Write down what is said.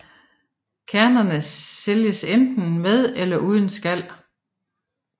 Kernerne sælges enten med eller uden skal